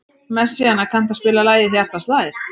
Messíana, kanntu að spila lagið „Hjartað slær“?